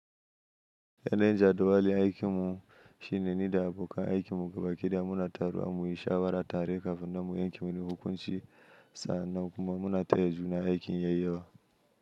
Yanzu jarabawar aikinmu shine ni da abokan aikinmu gaba kaɗa muna taruwa muyi shawara tare kafin mu yanke wani hukunci sannan kuma muna taya juna aikin yayi yawa.